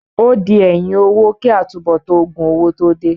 Ó di ẹ̀yìn owó kí àtúnbọ̀tán òògùn owó tó dé.